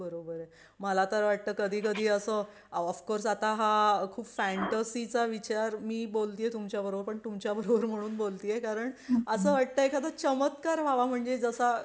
मला तर वाटतं कधी कधी असं ऑफकोर्स आता हा खूप फँटसी चा विचार मी बोलतीय तुमच्या बरोबर पण तुमच्या बरोबर म्हणून बोलती ये कारण असं वाटतं एखादा चमत्कार व्हावा म्हणजे जसा